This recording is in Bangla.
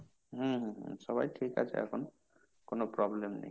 হম হম হম সবাই ঠিক আছে এখন, কোন problem নেই।